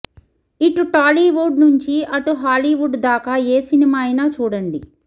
ఇటు టాలీవుడ్ నుంచి అటు హాలీవుడ్ దాకా ఏ సినిమా అయినా చూడండి